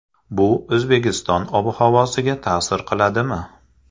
Bu O‘zbekiston ob-havosiga ta’sir qiladimi?